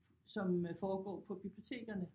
Som øh foregår på bibliotekerne